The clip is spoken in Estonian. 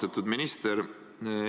Austatud minister!